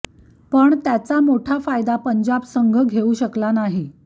पण त्याचा मोठा फायदा पंजाब संघ घेऊ शकला नाही